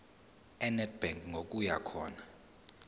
enedbank ngokuya khona